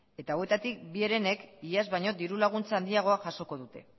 eta hauetatik bi barra hiruek iaz baino diru laguntza handiagoa jasoko dute